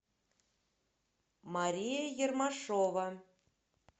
мария ермашова